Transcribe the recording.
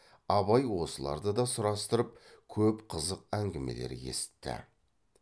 абай осыларды да сұрастырып көп қызық әңгімелер есітті